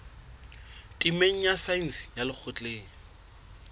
temeng ya saense ya lekgotleng